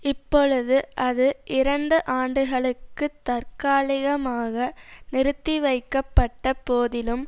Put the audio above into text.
இப்பொழுது அது இரண்டு ஆண்டுகளுக்குத் தற்காலிகமாக நிறுத்திவைக்கப்பட்ட போதிலும்